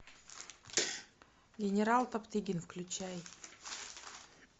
генерал топтыгин включай